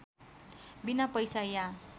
बिना पैसा या